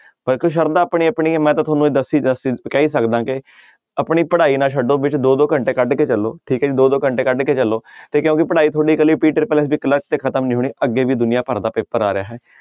ਸਰਧਾ ਆਪਣੀ ਆਪਣੀ ਹੈ ਮੈਂ ਤਾਂ ਤੁਹਾਨੂੰ ਇਹ ਦੱਸ ਹੀ ਦੱਸ ਹੀ ਕਹਿ ਹੀ ਸਕਦਾ ਕਿ ਆਪਣੀ ਪੜ੍ਹਾਈ ਨਾ ਛੱਡੋ ਵਿੱਚ ਦੋ ਦੋ ਘੰਟੇ ਕੱਢ ਕੇ ਚੱਲੋ ਠੀਕ ਹੈ ਜੀ ਦੋ ਦੋ ਘੰਟੇ ਕੱਢ ਕੇ ਚੱਲੋ ਤੇ ਕਿਉਂਕਿ ਪੜ੍ਹਾਈ ਤੁਹਾਡੀ ਇਕੱਲੀ ਤੇ ਖ਼ਤਮ ਨੀ ਹੋਣੀ ਅੱਗੇ ਵੀ ਦੁਨੀਆਂ ਭਰ ਦਾ ਪੇਪਰ ਆ ਰਿਹਾ ਹੈ।